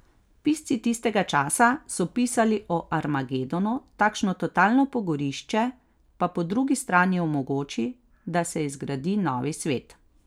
Pisci tistega časa so pisali o armagedonu, takšno totalno pogorišče pa po drugi strani omogoči, da se izgradi novi svet.